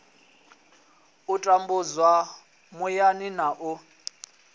u tambudzwa muyani na u